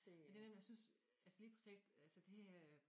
Det nemlig jeg synes altså lige præcis altsåd det øh